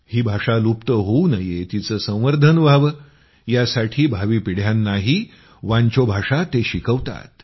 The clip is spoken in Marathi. ही भाषा लुप्त होवू नये तिचं संवर्धन व्हावं यासाठी भावी पिढ्यांनाही वांचो भाषा ते शिकवतात